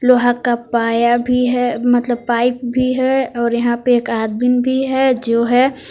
लोहा का पाया भी है मतलब पाइप भी है और यहां पर एक आदमी भी है जो है।